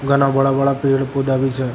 घाना बड़ा बड़ा पेड़ पोधा भी छे।